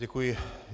Děkuji.